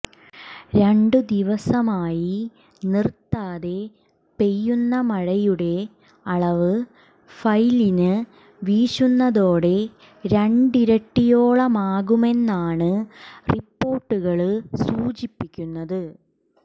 രണ്ടു ദിവസമായി നിര്ത്താതെ പെയ്യുന്ന മഴയുടെ അളവ് ഫൈലിന് വീശുന്നതോടെ രണ്ടിരട്ടിയോളമാകുമെന്നാണ് റിപ്പോര്ട്ടുകള് സൂചിപ്പിക്കുന്നത്